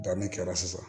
Danni kɛra sisan